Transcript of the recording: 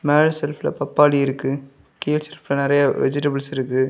மேல செல்ப்ல பாப்பாளி இருக்கு கீழ செல்ப்ல நிறைய வெஜிடபிள்ஸ் இருக்கு.